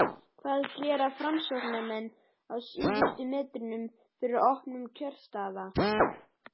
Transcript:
hvað gera framsóknarmenn á síðustu metrunum fyrir opnun kjörstaða?